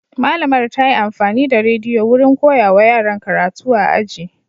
Malamar ta yi amfani da rediyo wurin koyawa yaran karatu a aji.